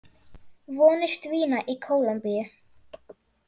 Vonir dvína í Kólumbíu